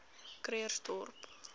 krugersdorp